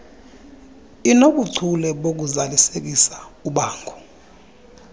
inobuchule bokuzalisekisa ubango